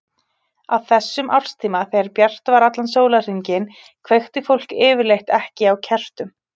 Á þessum árstíma, þegar bjart var allan sólarhringinn, kveikti fólk yfirleitt ekki á kertum.